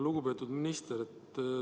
Lugupeetud minister!